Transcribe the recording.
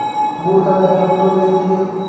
Babur kale ayan nalukuwarejiye.